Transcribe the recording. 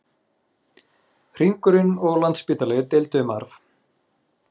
Hringurinn og Landspítali deildu um arf